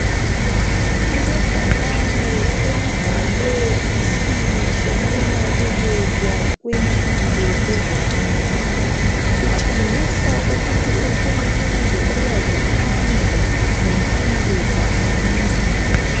Kulebhakane elibhalwe isimo sokunakekelwa kumpilo eRwanda kutshengisa ukuthi uhulumende uyazikhandla ngempilo zabantu.